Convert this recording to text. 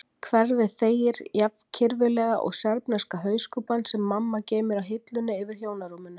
Hverfið þegir jafn kirfilega og serbneska hauskúpan sem mamma geymir á hillunni yfir hjónarúminu.